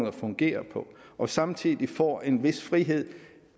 at fungere på og samtidig får en vis frihed